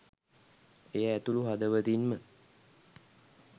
එය ඇතුළු හදවතින්ම